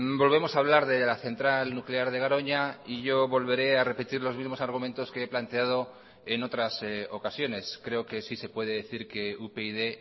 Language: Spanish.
volvemos a hablar de la central nuclear de garoña y yo volveré a repetir los mismos argumentos que he planteado en otras ocasiones creo que sí se puede decir que upyd